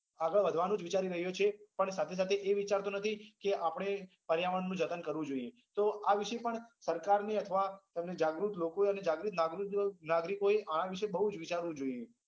આગળ વધવાનું વિચારી રહ્યો છે સાથે સાથે એ વિચારતો નથી કે આપણે પર્યાવરણ નું જતન કરવું જોઈએ તો વિષે પણ સરકાર ને અથવા જાગૃત લોકો નાગરિકો એ માણસ એ બઉ વિચારવું જોઈએ